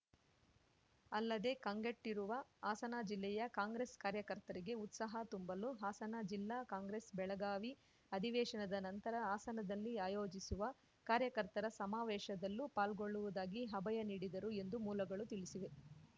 ಅಲ್ಲದೆ ಕಂಗೆಟ್ಟಿರುವ ಹಾಸನ ಜಿಲ್ಲೆಯ ಕಾಂಗ್ರೆಸ್‌ ಕಾರ್ಯಕರ್ತರಿಗೆ ಉತ್ಸಾಹ ತುಂಬಲು ಹಾಸನ ಜಿಲ್ಲಾ ಕಾಂಗ್ರೆಸ್‌ ಬೆಳಗಾವಿ ಅಧಿವೇಶನದ ನಂತರ ಹಾಸನದಲ್ಲಿ ಆಯೋಜಿಸುವ ಕಾರ್ಯಕರ್ತರ ಸಮಾವೇಶದಲ್ಲೂ ಪಾಲ್ಗೊಳ್ಳುವುದಾಗಿ ಅಭಯ ನೀಡಿದರು ಎಂದು ಮೂಲಗಳು ತಿಳಿಸಿವೆ